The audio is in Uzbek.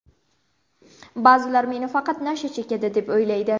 Ba’zilar meni faqat nasha chekadi, deb o‘ylaydi.